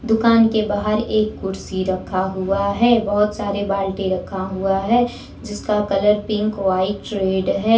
दुकान के बाहर एक कुर्सी रखा हुआ है बहुत सारे बाल्टी रखा हुआ है जिसका कलर पिंक व्हाइट रेड है।